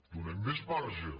donem més marge